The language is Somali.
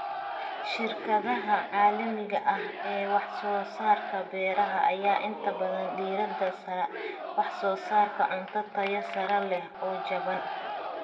Shirkadaha caalamiga ah ee wax soo saarka beeraha ayaa inta badan diirada saara wax soo saarka cunto tayo sare leh oo jaban.